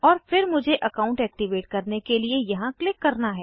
और फिर मुझे अकाउंट एक्टिवेट करने के लिए यहाँ क्लिक करना है